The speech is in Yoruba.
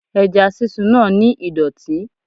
Ẹja sísun náà ni ìdọ̀tí.